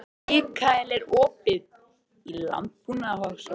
Mikaela, er opið í Landbúnaðarháskólanum?